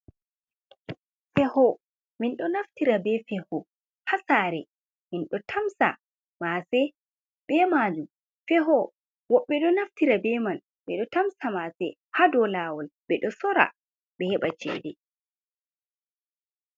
Feho, min ɗo naftira be feho ha saare, min ɗo tamsa maase be majum, feho woɓɓe ɗo naftira be man ɓe ɗo tamsa maase ha dou laawol ɓe ɗo sora ɓe heɓa ceede.